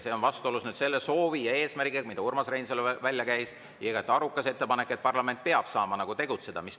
See on vastuolus selle soovi ja eesmärgiga, mille Urmas Reinsalu välja käis, ja igati aruka ettepanekuga, et parlament peab saama tegutseda.